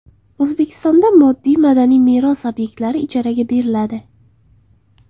O‘zbekistonda moddiy madaniy meros obyektlari ijaraga beriladi.